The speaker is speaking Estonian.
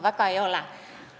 Väga ei ole.